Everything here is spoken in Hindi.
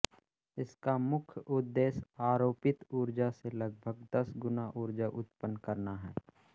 इसका मुख्य उद्देश्य आरोपित उर्जा से लगभग दस गुना उर्जा उत्पन करना है